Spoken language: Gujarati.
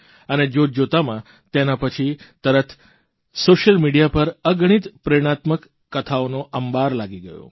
અને જોતજોતામાં તેના પછી તરત સોશિયલ મિડિયા પર અગણિત પ્રેરણાત્મક કથાઓનો અંબાર લાગી ગયો